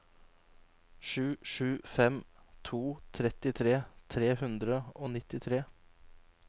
sju sju fem to trettitre tre hundre og nittitre